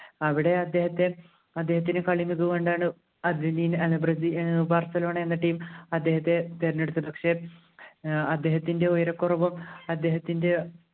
അവിടെ അദ്ദേഹത്തെ അദ്ദേഹത്തിൻ്റെ കളി മികവ് കൊണ്ടാണ് ഏർ എന്ന team അദ്ദേഹത്തെ തെരഞ്ഞെടുത്തത് പക്ഷെ അദ്ദേഹത്തിൻ്റെ ഉയരകുറവും അദ്ദേഹത്തിൻ്റെ